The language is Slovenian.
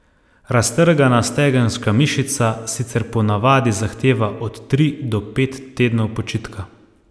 Raztrgana stegenska mišica sicer ponavadi zahteva od tri od pet tednov počitka.